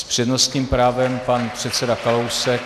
S přednostním právem pan předseda Kalousek.